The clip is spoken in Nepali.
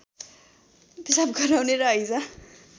पिशाब गराउने र हैजा